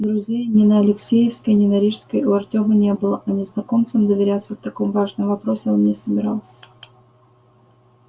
друзей ни на алексеевской ни на рижской у артёма не было а незнакомцам доверяться в таком важном вопросе он не собирался